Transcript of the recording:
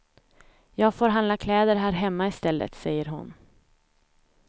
Jag får handla kläder här hemma i stället, säger hon.